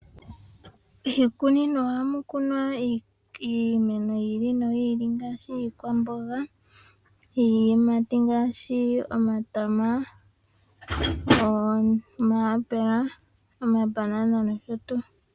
Miikunino ohamu kumwa iimeno yi ili noyi ili ngaashi iikwamboga, iyimati ngaashi omatama, omayapula, omabanana nosho tuu.